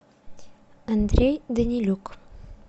андрей данилюк